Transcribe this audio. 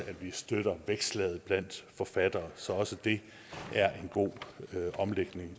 at vi støtter vækstlaget blandt forfattere så også det er en god omlægning